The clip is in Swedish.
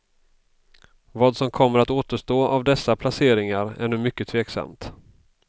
Vad som kommer att återstå av dessa placeringar är nu mycket tveksamt.